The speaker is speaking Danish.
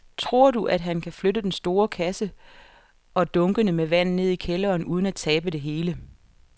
Tror du, at han kan flytte den store kasse og dunkene med vand ned i kælderen uden at tabe det hele?